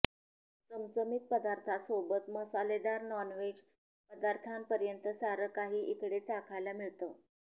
चमचमीत पदार्थांसोबतच मसालेदार नॉनव्हेज पदार्थांपर्यंत सारं काही इकडे चाखायला मिळतं